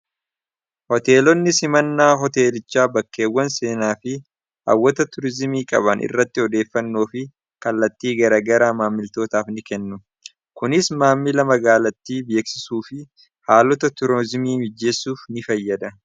Hoteelonni simannaa hoteelichaa bakkeewwan seenaa fi hawwata turizimii qabaan irratti odeeffannoo fi kallattii garagara maammiltootaaf ni kennu. Kunis maamila magaalattii beeksisuu fi haalota turizimii mijjeessuuf ni fayyada.